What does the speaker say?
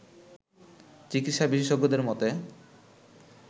চিকিৎসা বিশেষজ্ঞদের মতে